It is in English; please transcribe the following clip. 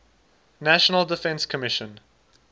national defense commission